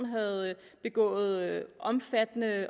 havde begået omfattende